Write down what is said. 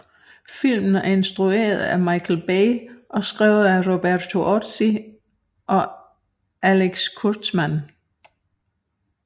Filmen er instrueret af Michael Bay og skrevet af Roberto Orci og Alex Kurtzman